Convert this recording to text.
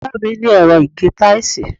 ìyá mi ní ẹ̀rọ ìgé táìsì.